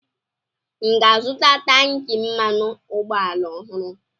M ga-azụta tankị mmanụ ụgbọala ọhụrụ?